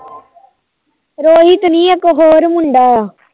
ਰੋਹਿਤ ਨੀ ਇੱਕ ਹੋਰ ਮੁੰਡਾ